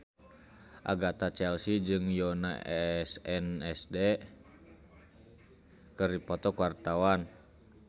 Agatha Chelsea jeung Yoona SNSD keur dipoto ku wartawan